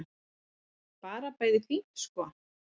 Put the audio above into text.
Bara bæði fínt sko.